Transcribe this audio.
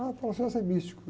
Ah, o é místico.